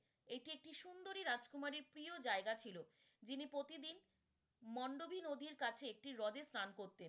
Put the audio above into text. এটি একটি সুন্দরী রাজকুমারীর প্রিয় জায়গা ছিল, যিনি প্রতিদিন মন্ডবি নদীর কাছে একটি রদে স্নান করতেন।